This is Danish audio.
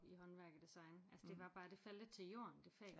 I håndværk og design altså det var bare det faldt lidt til jorden det fag